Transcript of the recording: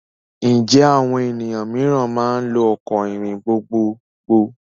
Ǹjẹ́ àwọn ènìyàn mìíràn máa lò ọkọ̀ ìrìn gbogbogbò?